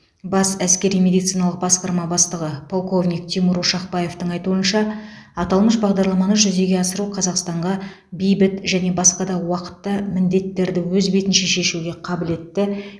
бас әскери медициналық басқарма бастығы полковник тимур ошақбаевтың айтуынша аталмыш бағдарламаны жүзеге асыру қазақстанға бейбіт және басқа да уақытта міндеттерді өз бетінше шешуге қабілетті